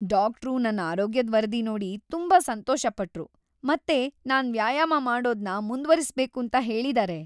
Doctor ನನ್ ಆರೋಗ್ಯದ್ ವರದಿ ನೋಡಿ ತುಂಬಾ ಸಂತೋಷಪಟ್ರು ಮತ್ತೆ ನಾನ್ ವ್ಯಾಯಾಮ ಮಾಡೋದನ್ನ ಮುಂದುವರಿಸ್ಬೇಕೂಂತ ಹೇಳಿದಾರೆ.